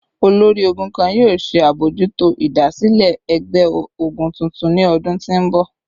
Olori-ogun kan yoo ṣe abojuto idasile ẹgbẹ-ogun tuntun ni ọdun ti n bọ